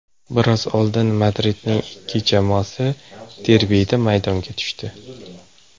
Biroz oldin Madridning ikki jamoasi derbida maydonga tushdi.